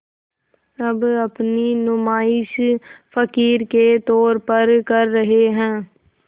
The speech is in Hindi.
अब अपनी नुमाइश फ़क़ीर के तौर पर कर रहे हैं